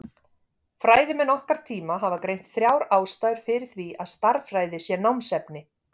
Fræðimenn okkar tíma hafa greint þrjár ástæður fyrir því að stærðfræði sé námsefni.